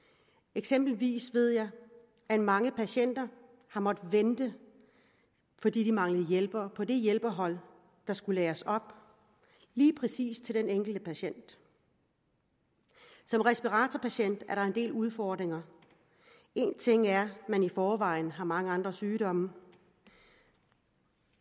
eksempelvis ved jeg at mange patienter har måttet vente fordi de mangler hjælpere på det hjælpehold der skulle læres op lige præcis til den enkelte patient som respiratorpatient er der en del udfordringer en ting er at man i forvejen har mange andre sygdomme